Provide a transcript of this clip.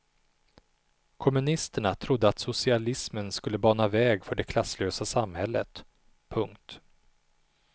Kommunisterna trodde att socialismen skulle bana väg för det klasslösa samhället. punkt